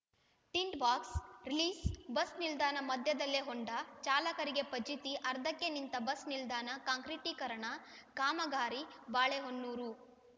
tint box release bus ನಿಲ್ದಾಣ ಮಧ್ಯದಲ್ಲೇ ಹೊಂಡ ಚಾಲಕರಿಗೆ ಫಜೀತಿ ಅರ್ಧಕ್ಕೆ ನಿಂತ ಬಸ್‌ ನಿಲ್ದಾಣ ಕಾಂಕ್ರಿಟೀಕರಣ ಕಾಮಗಾರಿ ಬಾಳೆಹೊನ್ನೂರು